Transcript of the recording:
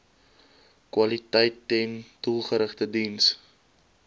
kwaliteiten doelgerigte diens